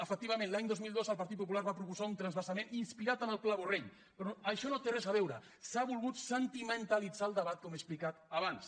efectivament l’any dos mil dos el partit popular va proposar un transvasament inspirat en el pla borrell però això no hi té res a veure s’ha volgut sentimentalitzar el debat com he explicat abans